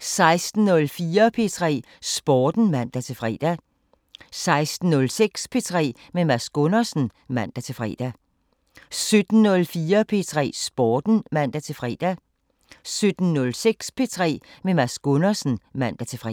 16:04: P3 Sporten (man-fre) 16:06: P3 med Mads Gundersen (man-fre) 17:04: P3 Sporten (man-fre) 17:06: P3 med Mads Gundersen (man-fre)